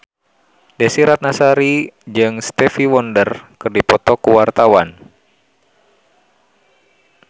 Desy Ratnasari jeung Stevie Wonder keur dipoto ku wartawan